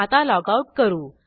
आता लॉगआउट करू